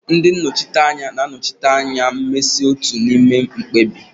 Ndị nnọchiteanya na-anọchite anya mmasị otu n'ime mkpebi.